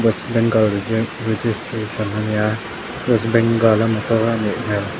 west bengal a reja registration a nia west bengal a motor a nih hmel.